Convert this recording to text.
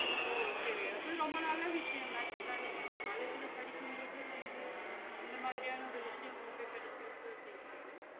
ஓ செரி அது ரொம்ப நல்ல விஷயம் தான் actual லா நீங்க college படிக்கும் போதே வந்து இந்த மாதிரியான ஒரு விஷயம் உங்களுக்கு கெடசுருக்கு அப்டிங்குறது